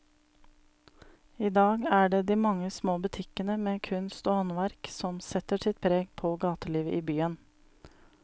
I dag er det de mange små butikkene med kunst og håndverk som setter sitt preg på gatelivet i byen.